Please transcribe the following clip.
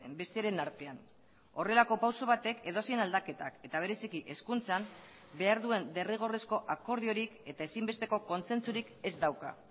besteren artean horrelako pauso batek edozein aldaketak eta bereziki hezkuntzan behar duen derrigorrezko akordiorik eta ezinbesteko kontzentzurik ez dauka